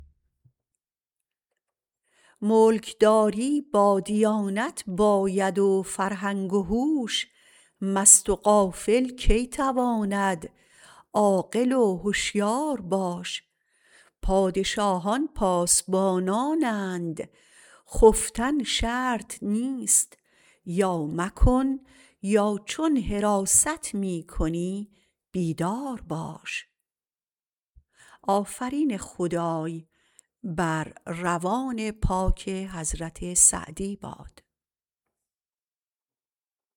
ملکداری با دیانت باید و فرهنگ و هوش مست و غافل کی تواند عاقل و هشیار باش پادشاهان پاسبانانند خفتن شرط نیست یا مکن یا چون حراست می کنی بیدار باش